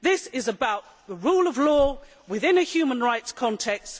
This is about the rule of law, within a human rights context